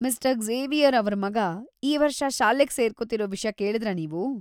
Mister Xavier ಅವ್ರ್ ಮಗ ಈ ವರ್ಷ ಶಾಲೆಗ್ ಸೇರ್ಕೊತಿರೋ ವಿಷ್ಯ ಕೇಳ್ದ್ರಾ ನೀವು?